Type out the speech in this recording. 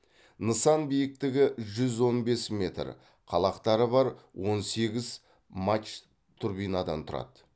нысан биіктігі жүз он бес метр қалақтары бар он сегіз мачт турбинадан тұрады